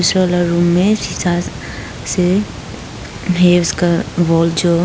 पीछे वाला रूम में शीशा से जो--